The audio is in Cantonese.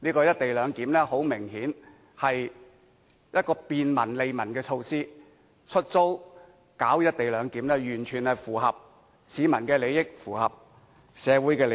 "一地兩檢"很明顯是一項便民、利民的措施，出租進行"一地兩檢"完全是符合市民及社會的利益。